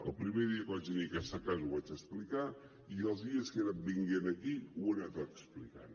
el primer dia que vaig venir a aquesta casa ho vaig explicar i els dies que he anat venint aquí ho he anat explicant